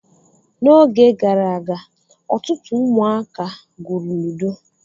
N'oge gara aga, otụtụ ụmụaka gwụrụ ludo.